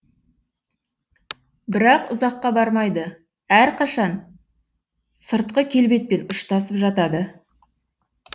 бірақ ұзаққа бармайды әрқашан сыртқы келбетпен ұштасып жатады